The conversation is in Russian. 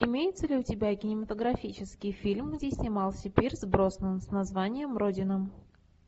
имеется ли у тебя кинематографический фильм где снимался пирс броснан с названием родина